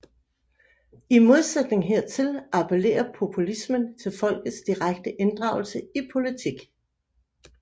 I modsætning hertil appellerer populismen til folkets direkte inddragelse i politik